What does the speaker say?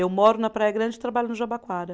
Eu moro na Praia Grande e trabalho no Jabaquara.